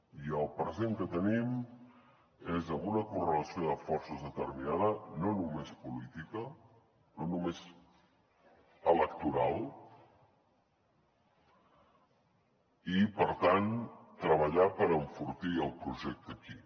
i el present que tenim és amb una correlació de forces determinada no només política no només electoral i per tant treballar per enfortir el projecte aquí